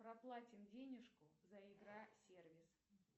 проплатим денежку за игра сервис